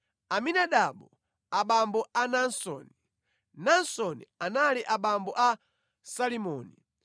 Aminadabu abambo a Naasoni, Naasoni anali abambo a Salimoni,